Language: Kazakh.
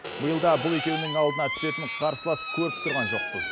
биылда бұл екеуінің алдына түсетін қарсылас көріп тұрған жоқпыз